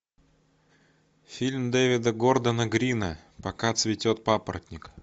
фильм дэвида гордона грина пока цветет папоротник